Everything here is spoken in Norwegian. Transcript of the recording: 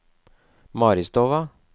Maristova